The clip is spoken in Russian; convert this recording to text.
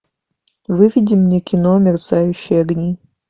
выведи мне кино мерцающие огни